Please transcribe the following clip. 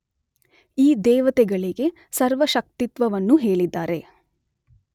ಈ ದೇವತೆಗಳಿಗೆ ಸರ್ವಶಕ್ತಿತ್ವವನ್ನೂ ಹೇಳಿದ್ದಾರೆ.